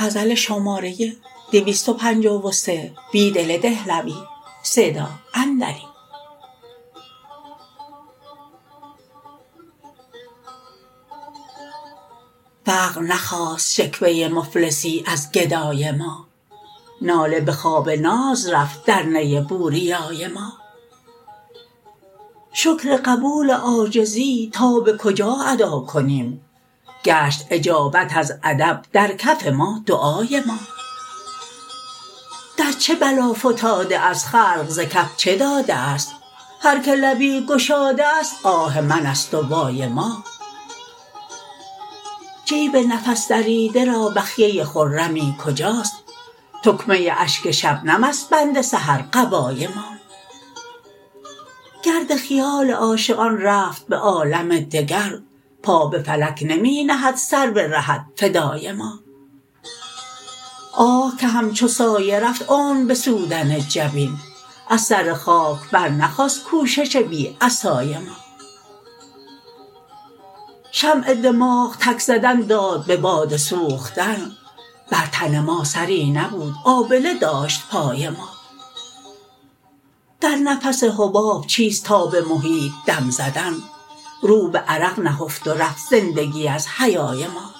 فقر نخواست شکوه مفلسی ازگدای ما ناله به خواب ناز رفت در نی بوریای ما شکرقبول عاجزی تا به کجا ادانیم گشت اجابت از ادب درکف ما دعای ما در چه بلافتاده است خلق زکف چه داده است هرکه لبی گشاده است آه من است و وای ما جیب ففسن ریبده را بخیه خمی سکجاست تکمه اشک شبنم ست بند سحر قبای ما گرد خیال عاشقان رفت به عالم دگر پا به فلک نمی نهد سر به رهت فدای ما آه که همچوسایه رفت عمر به سودن جبین از سر خاک برنخاست کوشش بی عصای ما شمع دماغ تک زدن داد به باد سوختن برتن ما سری نبود آبله داشت پای ما در نفس حباب چیست تاب محیط دم زدن روبه عرق نهفت ورفت زندگی ازحیای ما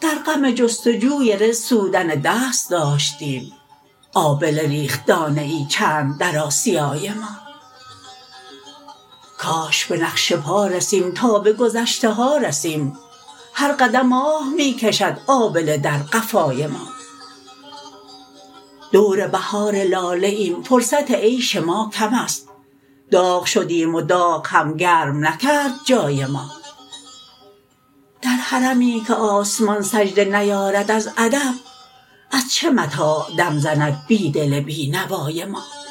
در غم جتسجوی رزق سودن دست داشتیم آبلهرینخت دانه ای چند در آسیای ما کاش به نقش پا رسیم تا به گذشته ها رسیم هرقدم آه می کشد آبله در قفای ما دور بهار لاله ایم فرصت عیش ماکم ست داغ شدیم وداغ هم گرم نکرد جای ما در حرمی که آسمان سجده نیارد از ادب از چه متاع دم زند بیدل بینوای ما